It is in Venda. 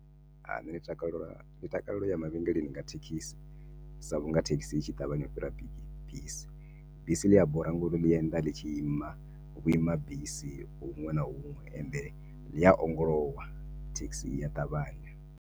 Nṋe ndi takalela ndi takalela uya mavhengeleni nga thekhisi sa vhunga thekhisi itshi ṱavhanya u fhira bi bisi. Bisi ḽia bora ngori ḽienda ḽi tshi ima vhuima bisi huṅwe na huṅwe, ende ḽia ongolowa thekhisi iya ṱavhanya.